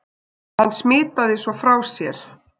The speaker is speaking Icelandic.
Hann smitaði svo frá sér.